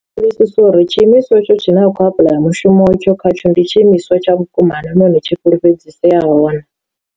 Sa uri tshiimiswa etsho tshine a khou apuḽaya mushumo etsho khatsho ndi tshi imiswa tsha vhukuma naa nahone tshi fhulufhedziseyaho na.